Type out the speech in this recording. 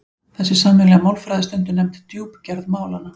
Þessi sameiginlega málfræði er stundum nefnd djúpgerð málanna.